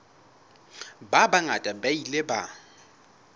ba bangata ba ile ba